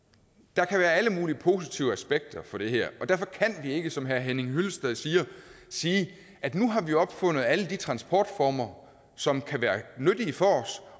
der kan være alle mulige positive aspekter for det her og derfor kan vi ikke som herre henning hyllested siger sige at nu har vi opfundet alle de transportformer som kan være nyttige for os